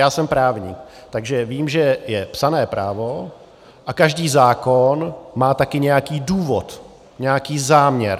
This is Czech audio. Já jsem právník, takže vím, že je psané právo - a každý zákon má také nějaký důvod, nějaký záměr.